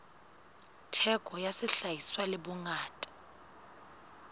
theko ya sehlahiswa le bongata